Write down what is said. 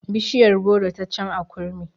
Bishiyar goro ta can a kurmi